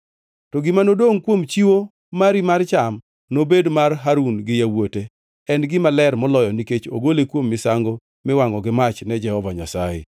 To gima nodongʼ kuom chiwo mari mar cham nobed mar Harun gi yawuote, en gima ler moloyo nikech ogole kuom misango miwangʼo gi mach ne Jehova Nyasaye.